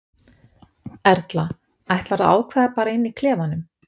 Erla: Ætlarðu að ákveða bara inni í klefanum?